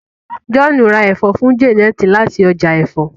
John rá èfó fún Janet láti ọjà èfó.